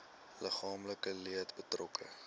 liggaamlike leed betrokke